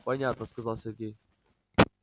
понятно сказал сергей